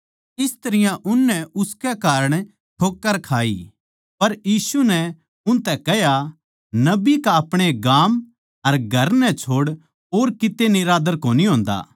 इस तरियां उननै उसकै कारण ठोक्कर खाई पर यीशु नै उनतै कह्या नबी का अपणे गाम अर घर नै छोड़ और किते निरादर कोनी होन्दा